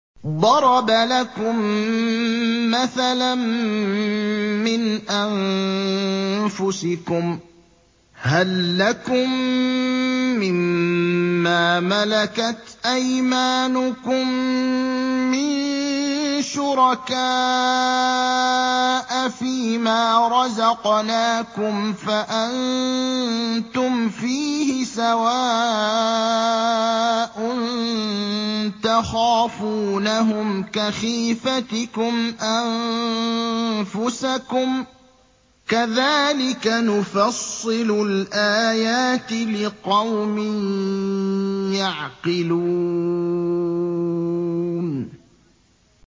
ضَرَبَ لَكُم مَّثَلًا مِّنْ أَنفُسِكُمْ ۖ هَل لَّكُم مِّن مَّا مَلَكَتْ أَيْمَانُكُم مِّن شُرَكَاءَ فِي مَا رَزَقْنَاكُمْ فَأَنتُمْ فِيهِ سَوَاءٌ تَخَافُونَهُمْ كَخِيفَتِكُمْ أَنفُسَكُمْ ۚ كَذَٰلِكَ نُفَصِّلُ الْآيَاتِ لِقَوْمٍ يَعْقِلُونَ